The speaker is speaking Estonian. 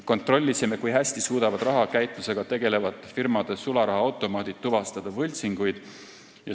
Kontrollisime, kui hästi suudavad rahakäitlusega tegelevate firmade sularahaautomaadid tuvastada võltsinguid.